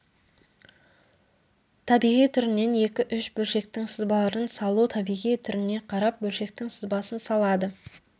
табиғи түрінен екі-үш бөлшектің сызбаларын салу табиғи түріне қарап бөлшектің сызбасын салады